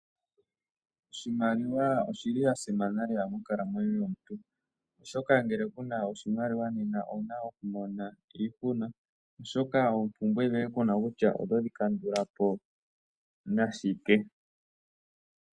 Oshimaliwa oshili sha simana lela monkalamwenyo yomuntu oshoka ngele kuna oshimaliwa nena owuna oku mona iihuna, oshoka oompumbwe dhoye kuna kutya oto dhi kandula po nashike.